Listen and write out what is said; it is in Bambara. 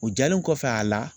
O diyalen kɔfɛ a la